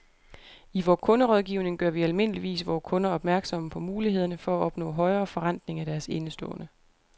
I vor kunderådgivning gør vi almindeligvis vore kunder opmærksomme på mulighederne for at opnå højere forrentning af deres indestående.